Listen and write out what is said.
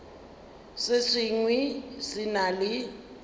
se sengwe se na le